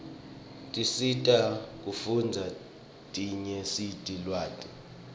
tiscsita kufundza dinyenise lwati